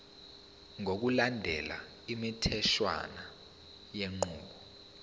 ngokulandela imitheshwana yenqubo